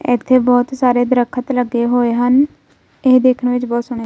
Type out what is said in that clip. ਇਥੇ ਬਹੁਤ ਸਾਰੇ ਦਰਖਤ ਲੱਗੇ ਹੋਏ ਹਨ ਇਹ ਦੇਖਣ ਵਿੱਚ ਬਹੁਤ ਸੋਹਣੇ --